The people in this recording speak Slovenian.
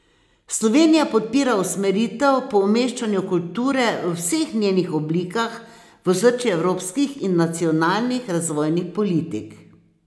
Slovenija podpira usmeritev po umeščanju kulture v vseh njenih oblikah v osrčje evropskih in nacionalnih razvojnih politik.